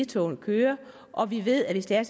togene kører og vi ved at hvis det er